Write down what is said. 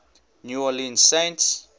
new orleans saints